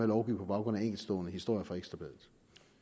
lovgive på baggrund af enkeltstående historier fra ekstra bladet